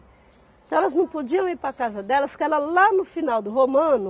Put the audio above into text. Então elas não podiam ir para a casa delas, porque era lá no final do Romano,